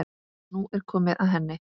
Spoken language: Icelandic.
Nú er komið að henni.